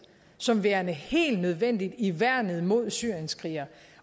som værende helt nødvendig i værnet mod syrienskrigere